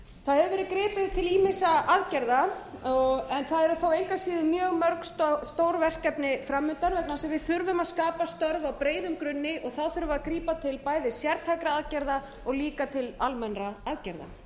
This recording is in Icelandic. það hefur verið gripið til ýmissa aðgerða það eru þó engu að síður mjög mörg stór verkefni framundan vegna þess að við þurfum að skapa störf á breiðum grunni þurfum við að grípa til sértækra aðgerða og líka til almennra aðgerða